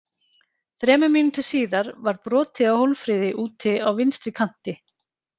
Þremur mínútum síðar var brotið á Hólmfríði úti á vinstri kanti.